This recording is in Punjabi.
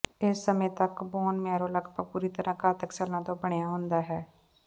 ਇਸ ਸਮੇਂ ਤਕ ਬੋਨ ਮੈਰੋ ਲਗਭਗ ਪੂਰੀ ਤਰ੍ਹਾਂ ਘਾਤਕ ਸੈੱਲਾਂ ਤੋਂ ਬਣਿਆ ਹੁੰਦਾ ਹੈ